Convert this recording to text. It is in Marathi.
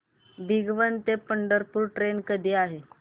भिगवण ते पंढरपूर ट्रेन कधी आहे